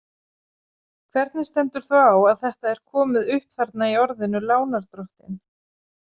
Hvernig stendur þá á að þetta er komi upp þarna í orðinu „lánardrottinn“?